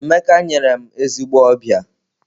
Emeka nyere m ezigbo ọbịa.